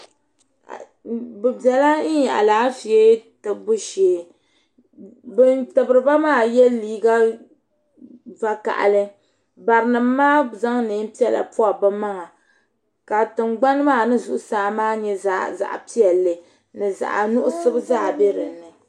Bi bɛla alaafee tibibu shɛɛ bini tibiri ba maa ye liiga vakahali bari nima maa zaŋ nɛɛn piɛlla pɔbi bi maŋa ka tiŋgbani maa ni zuɣusaa maa nyɛ zaɣi piɛlli ni zaɣi nuɣiso zaa bɛ dinni.